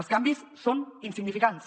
els canvis són insignificants